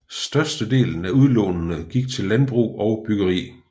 Størstedelen af udlånene gik til landbrug og byggeri